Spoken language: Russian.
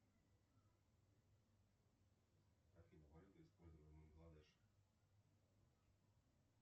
афина валюта используемая в бангладеше